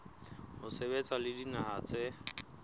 ho sebetsa le dinaha tse